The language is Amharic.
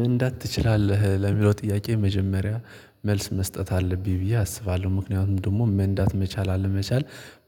መንዳት ትችላለህ ለሚለው ጥያቄ መጀመሪያ መልስ መስጠት አለብኝ ብዬ አስባለሁ ምክንያቱም ደግሞ መንዳት መቻል አለመቻል።